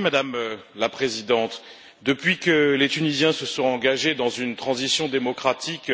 Madame la Présidente, depuis que les Tunisiens se sont engagés dans une transition démocratique,